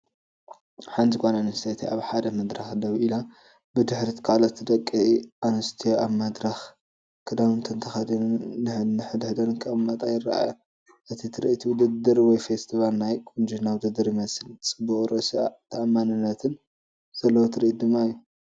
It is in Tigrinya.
ሓንቲ ጓል ኣንስተይቲ ኣብ ሓደ መድረኽ ደው ኢላ። ብድሕሪት ካልኦት ደቂ ኣንስትዮ ኣብ መድረኽ፡ ክዳውንተን ተኸዲነን ንሓድሕደን ክጥምታ ይረኣያ። እቲ ትርኢት ውድድር ወይ ፈስቲቫል ናይ ቁንጅና ውድድር ይመስል። ጽቡቕን ርእሰ ተኣማንነትን ዘለዎ ትርኢት ድማ እዩ።